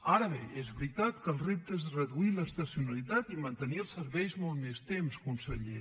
ara bé és veritat que el repte és reduir l’estacionalitat i mantenir els serveis molt més temps conseller